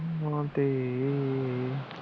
ਨਾ ਦੇ